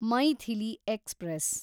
Maithili express